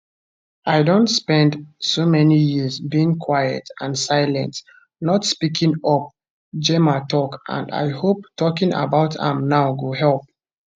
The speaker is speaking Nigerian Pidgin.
i don spend so many years being quiet and silent not speaking up gemma tok and i hope talking about am now go help